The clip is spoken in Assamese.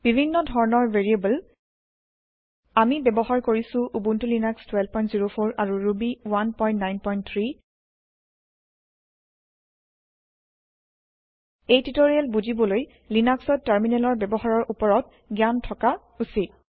বিভিন্ন ধৰণৰ ভেৰিয়েব্ল আমি ব্যৱহাৰ কৰিছো উবুন্তু লিনাক্স 1204 আৰু ৰুবী 193 এই টিওটৰিয়েল বুজিবলৈ লিনাক্সত টাৰমিনেলৰ ব্যৱহাৰৰ ওপৰত জ্ঞান থকা উচিত